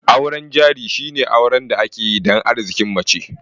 Auren jari shine auren da ake yi dan Arzikin mace